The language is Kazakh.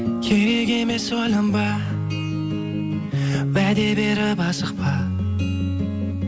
керек емес ойланба уәде беріп асықпа